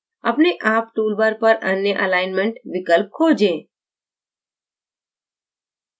अपने आप toolbar पर अन्य alignment विकल्प खोजें